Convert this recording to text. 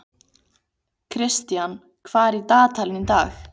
Kristian, hvað er í dagatalinu í dag?